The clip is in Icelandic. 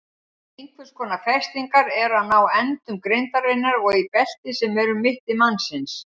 Einhvers konar festingar eru frá endum grindarinnar og í belti sem er um mitti mannsins.